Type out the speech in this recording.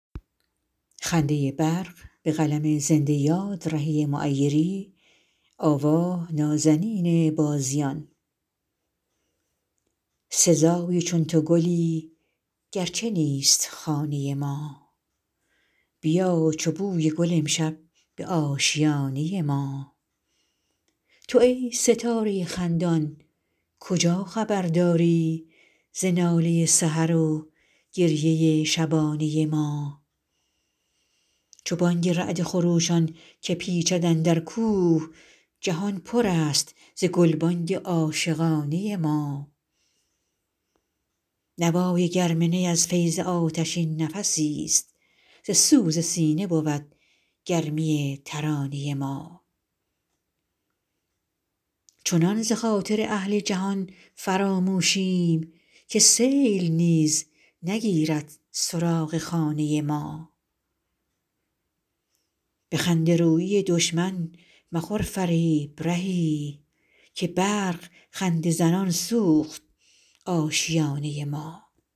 سزای چون تو گلی گرچه نیست خانه ما بیا چو بوی گل امشب به آشیانه ما تو ای ستاره خندان کجا خبر داری ز ناله سحر و گریه شبانه ما چو بانگ رعد خروشان که پیچد اندر کوه جهان پر است ز گلبانگ عاشقانه ما نوای گرم نی از فیض آتشین نفسی است ز سوز سینه بود گرمی ترانه ما چنان ز خاطر اهل جهان فراموشیم که سیل نیز نگیرد سراغ خانه ما به خنده رویی دشمن مخور فریب رهی که برق خنده زنان سوخت آشیانه ما